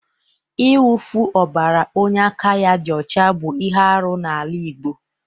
Ịwụfu ọbara onye aka ya dị ọcha bụ ihe arụ n'ala Igbo.